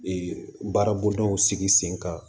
Ee baarabondaw sigi sen kan